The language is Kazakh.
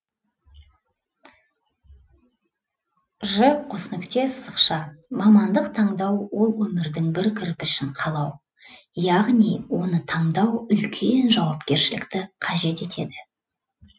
ж қос нүкте сызықша мамандық таңдау ол өмірдің бір кірпішін қалау яғни оны таңдау үлкен жауапкершілікті қажет етеді